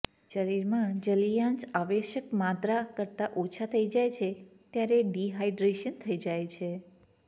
શરીરમાં જલિયાંશ આવશ્યક માત્રા કરતાં ઓછો થઇ જાય છે ત્યારે ડિહાઈડ્રેશન થઇ જાય છે